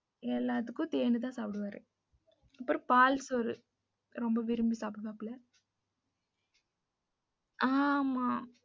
எல்லாத்துக்கும் தேனு தான் சாப்டுவாரு. அப்புறம் பால் சோறு ரொம்ப விரும்பி சாப்டுவாபுல்ல.